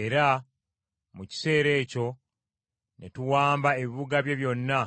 Era mu kiseera ekyo ne tuwamba ebibuga bye byonna